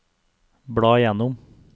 bla gjennom